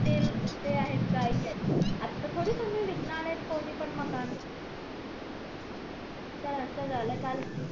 ते आहेच आता थोडी तुम्ही विकणार येत कोणी पण मकान तर असं झालं काल